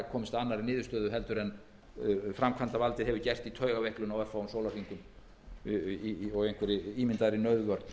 að annarri niðurstöðu en framkvæmdarvaldið hefur gert í taugaveiklun á örfáum sólarhringum og einhverri ímyndaðri nauðvörn